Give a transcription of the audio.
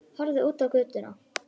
Horfði út á götuna.